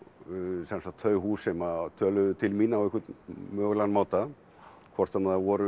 sem sagt þau hús sem töluðu til mín á einhvern mögulegan máta hvort sem það voru